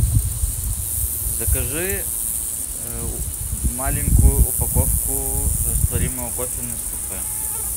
закажи маленькую упаковку растворимого кофе нескафе